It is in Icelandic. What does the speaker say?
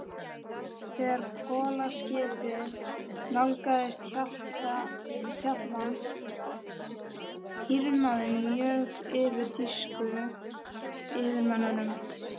Þegar kolaskipið nálgaðist Hjaltland, hýrnaði mjög yfir þýsku yfirmönnunum.